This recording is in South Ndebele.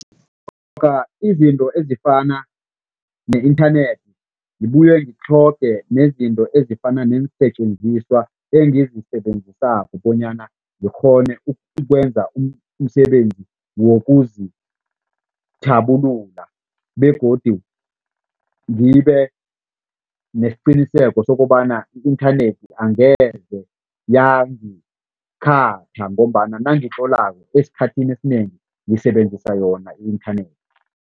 Izinto ezifana ne-inthanethi. Ngibuye zitlhogeke nezinto ezifana neensetjenziswa engizisebenzisako bonyana ngikghone ukwenza umsebenzi wokuzithabulula begodu ngibe nesiqinisekiso sokobana i-inthanethi angeze yangikhatha ngombana nangitlolako esikhathini esinengi ngisebenzisa yona i-inthanethi.